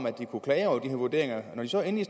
at kunne klage over de her vurderinger og når de så endelig